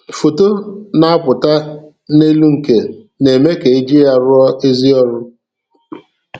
Foto na-apụta n'elunke na-eme ka i ji ya arụ ọrụ sie ike.